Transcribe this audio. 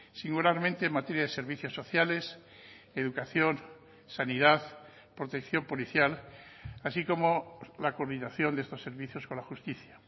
singularmente en materia de servicios sociales educación sanidad protección policial así como la coordinación de estos servicios con la justicia